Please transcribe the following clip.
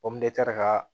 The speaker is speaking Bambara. ka